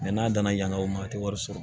n'a danna yan o ma a tɛ wari sɔrɔ